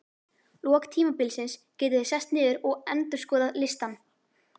lok tímabilsins getið þið sest niður og endurskoðað listann.